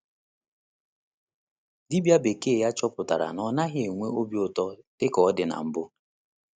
Dibia bekee ya chọpụtara na ọ naghị enwe obi ụtọ dị ka ọ dị na mbụ.